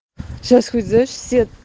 сейчас выйдешь себя